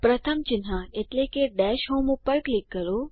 પ્રથમ ચિહ્ન એટલે કે ડૅશ હોમ પર ક્લિક કરો